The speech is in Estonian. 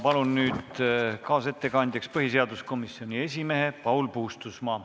Palun nüüd kaasettekandjaks põhiseaduskomisjoni esimehe Paul Puustusmaa.